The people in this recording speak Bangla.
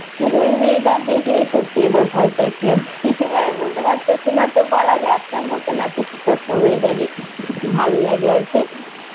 ওই weather দেখে সত্যি এবার ভয় পাইসি আমি এবার আমি বলতে পাইসি না তো নাতিসিতষ্ণ weather ই ভালো লাগে আরকি